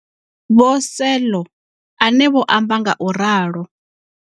Vho Selo, ane vho amba ngauralo.